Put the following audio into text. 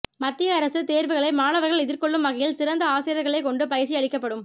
மத்திய அரசு தேர்வுகளை மாணவர்கள் எதிர்க்கொள்ளும் வகையில் சிறந்த ஆசிரியர்களைக் கொண்டு பயிற்சி அளிக்கப்படும்